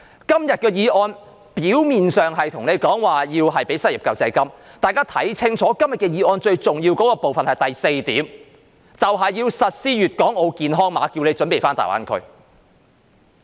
今天的議案表面上是要求政府提供失業救濟金，但大家要看清楚，議案最重要的部分是第四點，就是要實施粵港澳健康碼，要大家準備返大灣區。